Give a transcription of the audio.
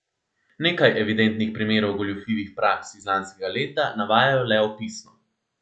Nekaj evidentnih primerov goljufivih praks iz lanskega leta navajajo le opisno.